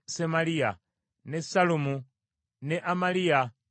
ne Sallumu, ne Amaliya ne Yusufu.